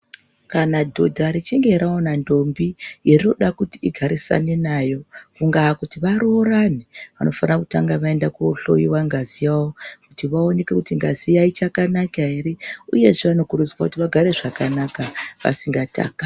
Kana dhodha richinge raona ndombi yerinoda kuti ingarinane nayo kungakuti varoorane vanofana kutanga vaenda kohloiwa ngazi yavo kuti vaonekwe kuti ngazi iya chakanaka ere uyezve vanokurudzirwa kuti vagare zvakanaka vasingatakani.